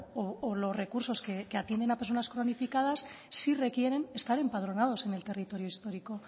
o los recursos que atienden a personas cronificadas sí requieren estar empadronados en el territorio histórico o